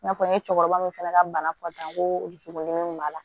N'a fɔ n ye cɛkɔrɔba min fana ka bana fɔ tan ko dusukun kun b'a la